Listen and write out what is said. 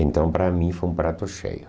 Então, para mim, foi um prato cheio.